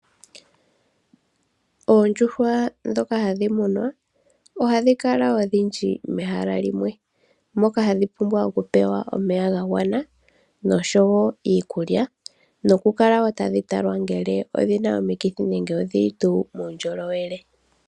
Oondjuhwa ndhoka hadhi munwa, oha dhi kala odhindji mehala limwe, moka hadhi pumbwa oku pewa omeya ga gwana, nosho wo iikulya, noku kala wo tadhi talwa ngele odhi li tuu muundjolowele.